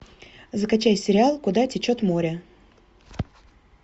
закачай сериал куда течет море